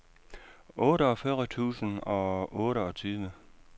otteogfyrre tusind og otteogtyve